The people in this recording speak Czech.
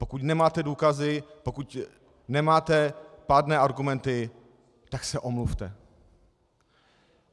Pokud nemáte důkazy, pokud nemáte pádné argumenty, tak se omluvte.